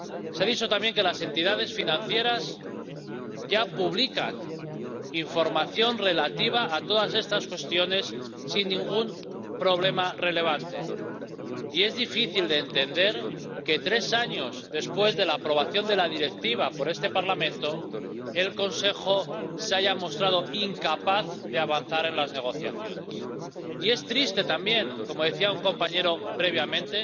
Se ha dicho también que las entidades financieras ya publican información relativa a todas estas cuestiones sin ningún problema relevante y es difícil entender que, tres años después de la aprobación de la Directiva por este Parlamento, el Consejo se haya mostrado incapaz de avanzar en las negociaciones. Y es triste también —como decía un compañero previamente—